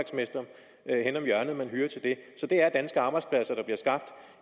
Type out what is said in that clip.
at henne om hjørnet man hyrer til det så det er danske arbejdspladser der bliver skabt